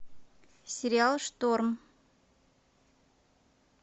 сериал шторм